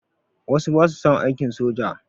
Wasu ba su son aiki soja.